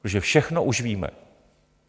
Protože všechno už víme.